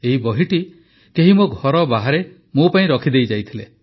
ଏହି ବହିଟି କେହି ମୋ ଘର ବାହାରେ ମୋ ପାଇଁ ରଖିଦେଇ ଯାଇଥିଲା